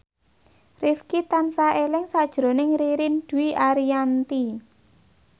Rifqi tansah eling sakjroning Ririn Dwi Ariyanti